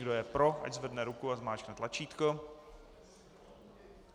Kdo je pro, ať zvedne ruku a zmáčkne tlačítko.